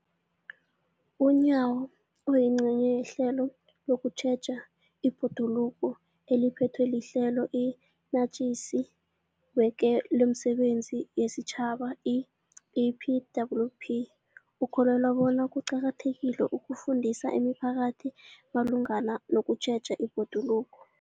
UNyawo, oyingcenye yehlelo lokutjheja ibhoduluko eliphethwe liHlelo eliNatjisi weko lemiSebenzi yesiTjhaba, i-EPWP, ukholelwa bona kuqakathekile ukufundisa imiphakathi malungana nokutjheja ibhoduluko.